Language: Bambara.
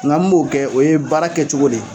Nga mun b'o kɛ o ye baara kɛcogo de ye